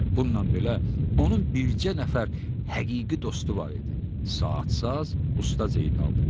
Bundan belə onun bircə nəfər həqiqi dostu var idi: saatı saz Usta Zeynal.